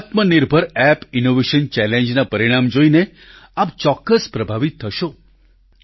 આત્મનિર્ભર app innovation challenge ના પરિણામ જોઈને આપ ચોક્કસ પ્રભાવિત થશો